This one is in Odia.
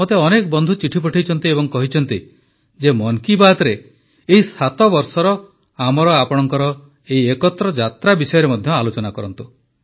ମୋତେ ଅନେକ ବନ୍ଧୁ ଚିଠି ପଠାଇଛନ୍ତି ଏବଂ କହିଛନ୍ତି ଯେ ମନ୍ କୀ ବାତ୍ରେ ଏହି 7 ବର୍ଷର ଆମର ଆପଣଙ୍କର ଏହି ଏକତ୍ର ଯାତ୍ରା ବିଷୟରେ ମଧ୍ୟ ଆଲୋଚନା କରନ୍ତୁ